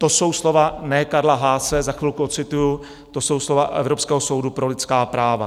To jsou slova ne Karla Hase, za chvilku odcituji, to jsou slova Evropského soudu pro lidská práva.